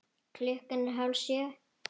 Klukkan er hálf sjö.